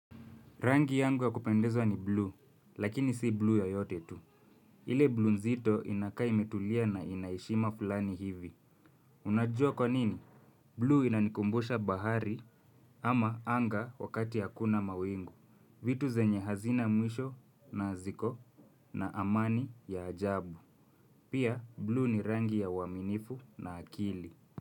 Rangi yangu ya kupendezwa ni bluu, lakini si bluu yoyote tu. Ile bluu nzito inakaa imetulia na ina heshima fulani hivi. Unajua kwa nini? Bluu inanikumbusha bahari ama anga wakati hakuna mawingu. Vitu zenye hazina mwisho na ziko na amani ya ajabu. Pia bluu ni rangi ya uaminifu na akili.